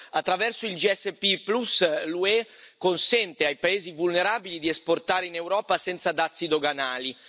Attraverso l'SPG l'UE consente ai paesi vulnerabili di esportare in Europa senza dazi doganali.